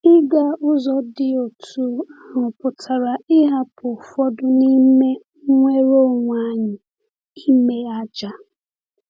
Ịga ụzọ dị otú ahụ pụtara ịhapụ ụfọdụ n’ime nnwere onwe anyị, ime àjà.